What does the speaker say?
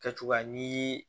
Kɛcogoya ni